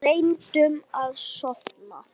Reyndum að sofna.